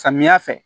Samiya fɛ